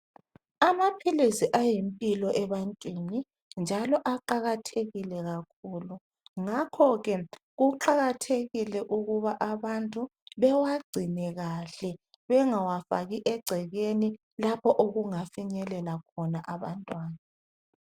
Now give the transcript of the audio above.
Amaphilisi ayimpilo ebantwini njalo aqakathekile kakhulu ngakhoke kuqakathekile ukuba abantu bewagcine kahle bengawafaki egcekeni lapho okungafinyelela khona abantwana.